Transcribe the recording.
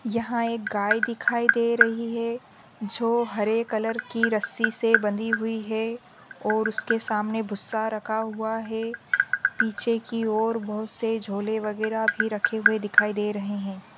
यहा एक गाय दिखाई दे रही है जो हरे कलर की रस्सी से बंधी हुई है और उसके सामने भूसा रखा हुआ है पीछे की और बहुत से झोले वगैरा भी रखे हुए दिखाई दे रहे है।